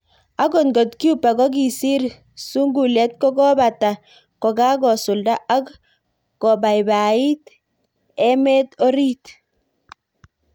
Ak ngot Cuba kokisir sungulet kokakopata kokakosulda ak kopaipaiti ik emet orit.